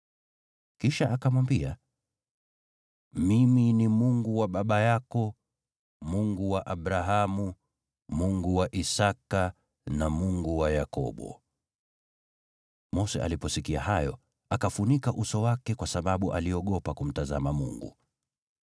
Kisha akamwambia, “Mimi ni Mungu wa baba yako, Mungu wa Abrahamu, Mungu wa Isaki, na Mungu wa Yakobo.” Mose aliposikia hayo, akafunika uso wake kwa sababu aliogopa kumtazama Mungu.